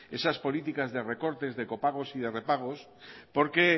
esas políticas de recortes de copagos y de repagos porque